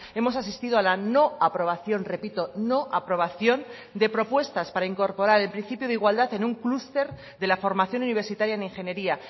hemos asistido a la no aprobación repito no aprobación de propuestas para incorporar el principio de igualdad en un clúster de la formación universitaria en ingeniería